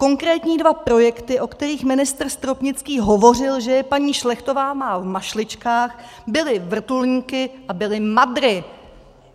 Konkrétní dva projekty, o kterých ministr Stropnický hovořil, že je paní Šlechtová má v mašličkách, byly vrtulníky a byly MADRy.